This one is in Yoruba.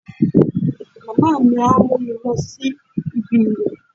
Màmá mi á mú mi lọ síbi ìwèé